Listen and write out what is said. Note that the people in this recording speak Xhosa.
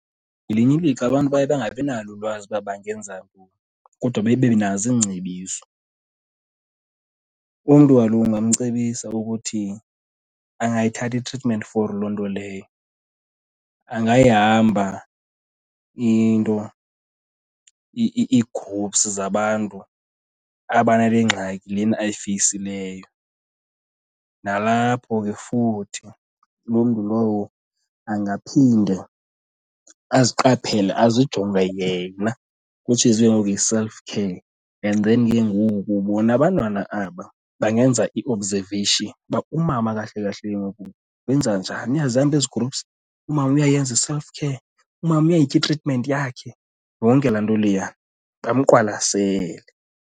Ngelinye ilixa abantu baye bangabi nalo ulwazi uba bangenza ntoni kodwa bebenazo iingcebiso. Umntu kaloku ungamcebisa ukuthi angayithatha itritimenti for loo nto leyo, angayihamba into, ii-groups zabantu abanale ngxaki lena ayifeyisileyo. Nalapho ke futhi loo mntu lowo angaphinde aziqaphele, azijonge yena, which is ke ngoku yi-self care. And then ke ngoku bona abantwana aba bangenza i-observation uba umama kahle kahle ke ngoku wenza njani, uyazihamba ezi-groups, umama uyayenza i-self care, umama uyayitya itritimenti yakhe, yonke laa nto leya bamqwalasele.